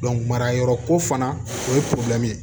marayɔrɔ ko fana o ye ye